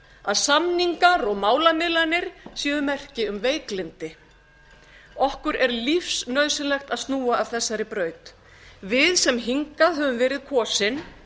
að samningar og málamiðlanir séu merki um veiklyndi okkur er lífsnauðsynlegt að snúa af þessari braut við sem hingað höfum meira kosin